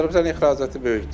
Azərbaycan ixracatı böyük deyil.